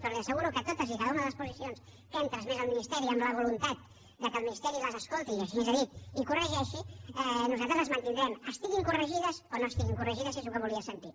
però li asseguro que totes i cada una de les posicions que hem transmès al ministeri amb la voluntat que el ministeri les escolti i així ens ho ha dit i corregeixi nosaltres les mantindrem estiguin corregides o no estiguin corregides és el que volia sentir